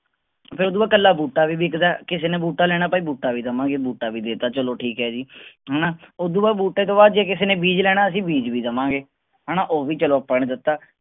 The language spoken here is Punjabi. ਫੇਰ ਓਹਤੋਂ ਬਾਅਦ ਕੱਲਾ ਬੂਟਾ ਵੀ ਵਿਕਦਾ ਐ ਕਿਸੀ ਨੇ ਬੂਟਾ ਲੈਣਾ ਤਾਂ ਬੂਟਾ ਵੀ ਦਵਾਂਗੇ ਬੂਟਾ ਵੀ ਦੇਤਾ ਚਲੋ ਠੀਕ ਐ ਜੀ ਹੈਨਾ ਉਹਦੋਂ ਬਾਅਦ ਬੂਟੇ ਤੋਂ ਬਾਅਦ ਕਿਸੇ ਨੇ ਬੀਜ ਲੈਣਾ ਅਸੀਂ ਬੀਜ ਵੀ ਦਵਾਂਗੇ ਹੈਨਾ ਉਹ ਵੀ ਨੀ ਦਿੱਤਾ